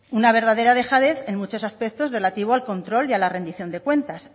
una verdadera dejadez en muchos aspectos relativo al control y a la rendición de cuentas